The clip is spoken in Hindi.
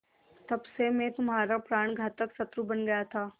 तब से मैं तुम्हारा प्राणघातक शत्रु बन गया था